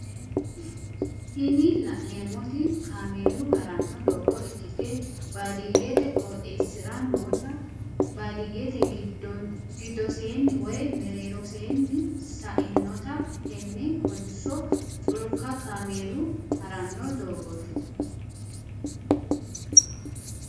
tini la'neemoti kameellu haranno doogo ikkite baadiyyete qoxeesira noota badiyyete giddoseenni woye mereeroseeni sa"inota tenne kolishsho culka kaameelu haranno doogoti.